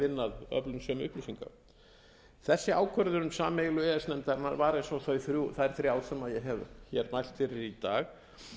vinna að öflun sömu upplýsinga þessi ákvörðun sameiginlegu e e s nefndarinnar var eins og þær þrjár sem ég hef mælt fyrir í dag